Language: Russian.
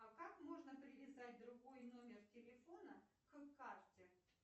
а как можно привязать другой номер телефона к карте